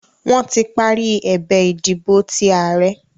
Wọ́n tí parí ẹ̀bẹ̀ ìdìbò ti ààrẹ́